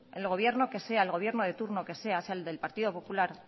el gobierno que sea el gobierno de turno que sea sea el del partido popular